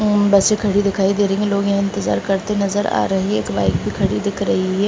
ऊ बसें खड़ी दिखाई दे रही हैं। लोग यहाँ इंतजार करते नजर आ रहे। एक बाइक भी खड़ी दिख रही है।